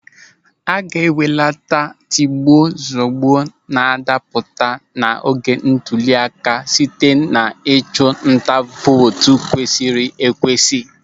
A ga-ebelata tigbuo zugbuo n'adapụta n'oge ntụli aka site n'ịchụ nta vootu kwesịrị ekwesị.